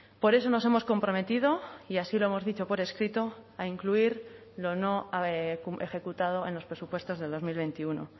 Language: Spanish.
por eso nos hemos comprometido y así lo hemos dicho por escrito a incluir lo no ejecutado en los presupuestos de dos mil veintiuno